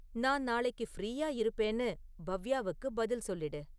நான் நாளைக்கு ஃப்ரீயா இருப்பேன்னு பவ்யாவுக்கு பதில் சொல்லிடு